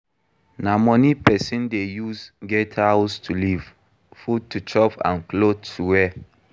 Na money Persin de use get house to live, food to chop and cloth to wear